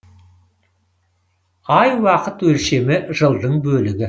ай уақыт өлшемі жылдың бөлігі